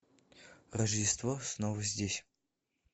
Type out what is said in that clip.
рождество снова здесь